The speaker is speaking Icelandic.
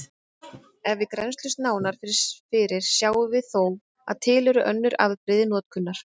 Ef við grennslumst nánar fyrir sjáum við þó að til eru önnur afbrigði notkunar.